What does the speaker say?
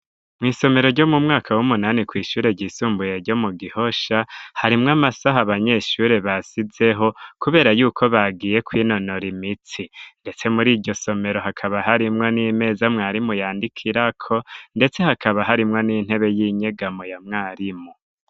Mw'isomero ryo mu mwaka w'umunani kw'ishure ryisumbuye ryo mu Gihosha harimwo amasaha abanyeshure basizeho kubera yuko bagiye kwinonora imitsi ,ndetse muriryo somero hakaba harimwo n'imeza mwarimu yandikiriko ,ndetse hakaba harimwo n'intebe y'inyegamo ya mwarimu.